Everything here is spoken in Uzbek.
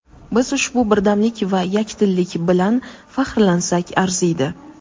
Biz ushbu birdamlik va yakdillik bilan faxrlansak arziydi.